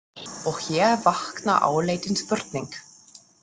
Og hér vaknar áleitin spurning.